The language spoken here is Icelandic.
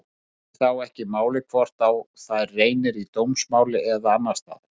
Skiptir þá ekki máli hvort á þær reynir í dómsmáli eða annars staðar.